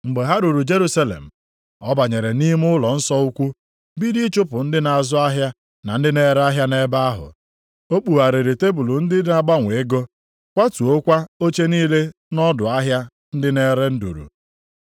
Mgbe ha ruru Jerusalem, ọ banyere nʼime ụlọnsọ ukwu, bido ịchụpụ ndị na-azụ ahịa na ndị na-ere ahịa nʼebe ahụ. O kpugharịrị tebul ndị na-agbanwe ego, kwatuokwa oche niile nʼọdụ ahịa ndị na-ere nduru.